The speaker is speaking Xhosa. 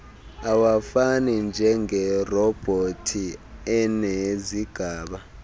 awafani njengerobhothi enezigaba